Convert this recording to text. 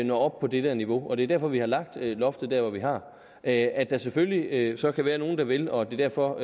når op på det det niveau og det er derfor vi har lagt loftet der hvor vi har at at der selvfølgelig så kan være nogle der vil og at det derfor